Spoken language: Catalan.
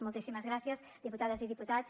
moltíssimes gràcies diputades i diputats